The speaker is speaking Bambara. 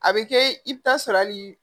A bɛ kɛ i bɛ taa sɔrɔ hali